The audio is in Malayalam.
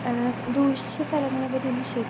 സ്പീക്കർ 2 ആ ദൂഷ്യഫലങ്ങളെപ്പറ്റി എനിക്ക് ശരിക്കും